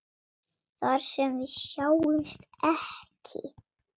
Þar sem við sjáumst ekki.